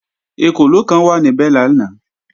Ekòló kan wà níbẹ̀ lánàá